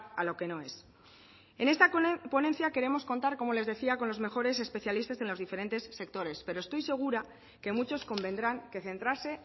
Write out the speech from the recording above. a lo que no es en esta ponencia queremos contar como les decía con los mejores especialistas en los diferentes sectores pero estoy segura que muchos convendrán que centrarse